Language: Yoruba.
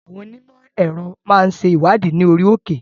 Àwọn Onímò èrò máa ń ṣe ìwádìí ní orí òkè.